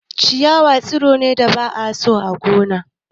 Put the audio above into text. Ciyawa tsiro ne da ba a so a gona.